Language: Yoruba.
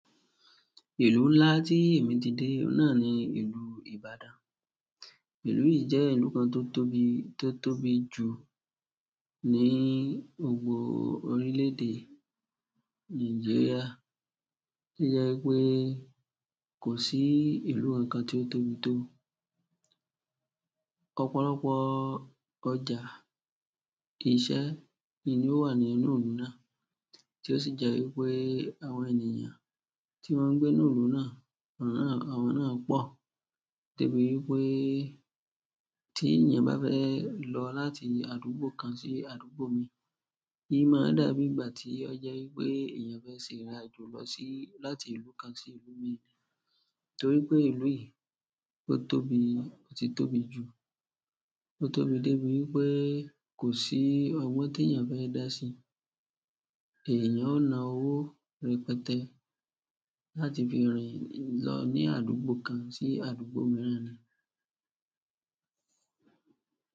Ìlú ńlá tí èmi ti de oun náà ni ìlú Ibadan. Ìlú yi jẹ ìlú kan to tóbi, to tóbi ju ni gbogbo orilẹ-ede Nigeria to jẹ wípé kosi ìlú kankan ti o tóbi to. Ọ̀pọ̀lọpọ̀ ọjà, iṣẹ́ ni ó wà nínú ìlú náà, tí ó sì jẹ́ wípé àwọn ènìyàn tí wọ́n ń gbé ní ìlú náà, àwọn náà pọ̀. De bí wípé tí èèyàn bá fẹ́ lọ láti àdúgbò kan sí àdúgbò mii, í i mọ dà bí ìgbà tí ó jẹ́ wípé èèyàn fẹ́ ṣe ìrìnàjò lọ sí-- láti ìlú kan sí ìlú mii. Torí pé ìlú yìí tó tóbi, ó ti tóbi jù. O tóbi de ibi wípé kosi ọgbọn teeyan fẹ da si eeyan o na owo rẹpẹtẹ láti fi rin lọ ni àdúgbò kan si àdúgbò miran.